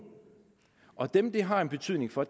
og dem det har en betydning for